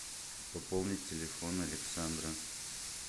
пополнить телефон александра